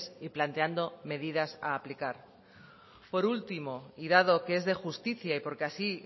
y planteando medidas a aplicar por último y dado que es de justicia y por que así